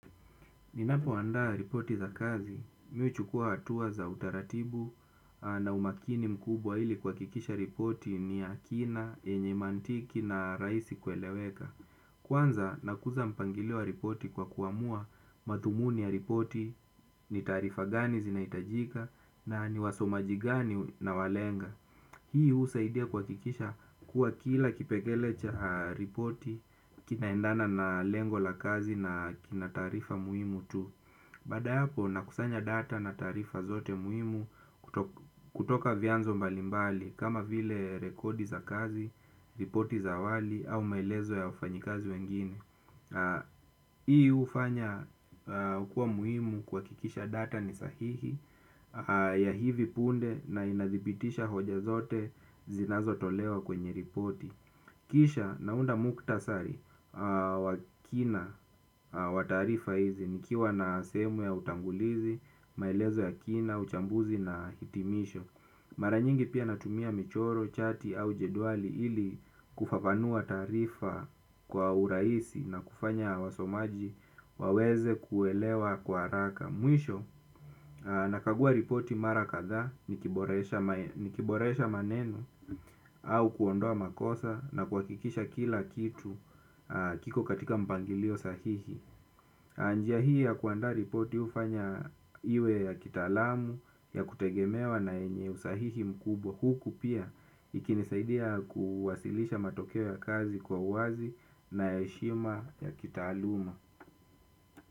Ninapoandaa ripoti za kazi, mi huchukua hatua za utaratibu na umakini mkubwa ili kuhakikisha ripoti ni ya kina, yenye mantiki na rahisi kueleweka. Kwanza, nakuza mpangilio ripoti kwa kuamua mathumuni ya ripoti ni taarifa gani zinahitajika na ni wasomaji gani nawalenga. Hii husaidia kuhakikisha kuwa kila kipegele cha ripoti kinaendana na lengo la kazi na kina taarifa muhimu tu. Bada yapo nakusanya data na taarifa zote muhimu kutoka vyanzo mbalimbali kama vile rekodi za kazi, ripoti za awali au maelezo ya wafanyikazi wengine. Hii hufanya hukua muhimu kuhakikisha data ni sahihi ya hivi punde na inazidhibitisha hoja zote zinazotolewa kwenye ripoti. Kisha naunda mukhtasari wa kina wa taarifa hizi nikiwa na sehemu ya utangulizi, maelezo ya kina, uchambuzi na hitimisho. Mara nyingi pia natumia michoro, chati au jedwali ili kufafanua taarifa kwa urahisi na kufanya wasomaji waweze kuelewa kwa haraka. Mwisho nakagua ripoti mara kadha nikiboresha nikiboresha maneno au kuondoa makosa na kuhakikisha kila kitu kiko katika mpangilio sahihi. Njia hii ya kuanda ripoti hufanya iwe ya kitaalamu ya kutegemewa na yenye usahihi mkubwa huku pia ikinisaidia kuwasilisha matokeo ya kazi kwa uwazi na ya heshima ya kitaaluma.